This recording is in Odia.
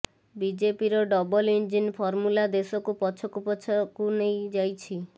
ବିଜେପିର ଡବଲ ଇଞ୍ଜିନ ଫର୍ମୁଲା ଦେଶକୁ ପଛକୁ ପଛକୁ ନେଇ ଯାଇଛି